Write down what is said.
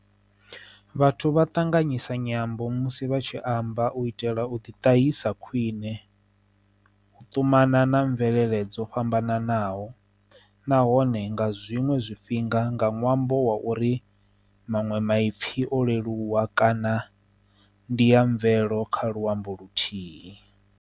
Vhathu vha ṱanganyisa nyambo musi vha tshi amba u itela u ḓi tahisa khwiṋe u ṱumana na mvelele dzo fhambananaho nahone nga zwiṅwe zwifhinga nga ṅwambo wa uri manwe maipfi o leluwa kana ndi ya mvelelo kha luambo luthihi.